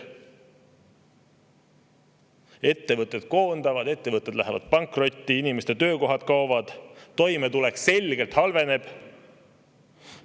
Ettevõtted koondavad, ettevõtted lähevad pankrotti, inimeste töökohad kaovad, toimetulek selgelt halveneb.